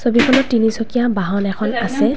ছবিখনত তিনিচকীয়া বাহন এখন আছে।